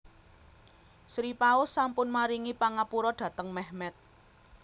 Sri Paus sampun maringi pangapura dhateng Mehmet